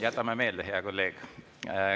Jätame meelde, hea kolleeg.